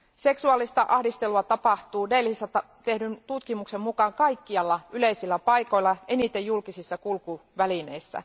Seksuaalista ahdistelua tapahtuu Delhissä tehdyn tutkimuksen mukaan kaikkialla yleisillä paikoilla, eniten julkisissa kulkuvälineissä.